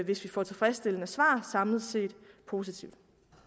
hvis vi får tilfredsstillende svar samlet set positivt